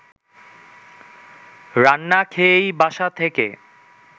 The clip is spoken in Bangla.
রান্না খেয়েই বাসা থেকে